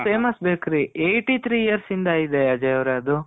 famous bakery eighty three years ಇಂದ ಇದೆ ಅಜಯ್ ಅವ್ರೆ ಅದು.